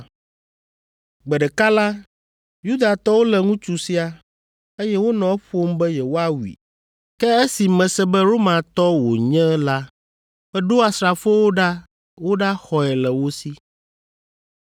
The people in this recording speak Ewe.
Gbe ɖeka la, Yudatɔwo lé ŋutsu sia, eye wonɔ eƒom be yewoawui, ke esi mese be Romatɔ wònye la, meɖo asrafowo ɖa woɖaxɔe le wo si.